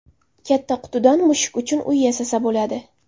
Katta qutidan mushuk uchun uy yasasa bo‘ladi.